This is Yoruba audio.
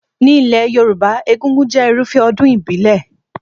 Ní ilé Yorùbá, egúngún jẹ́ Irúfẹ́ ọdún ìbílẹ̀